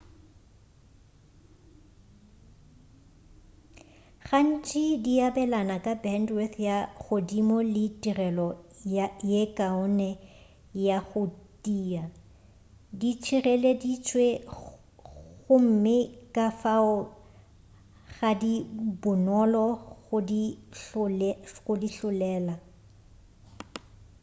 gantši di abelana ka bendwith ya godimo le tirelo ye kaone ya go tia di tšhireleditšwe gomme kafao ga di bonolo go di hlolela